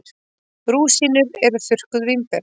Rúsínur eru þurrkuð vínber.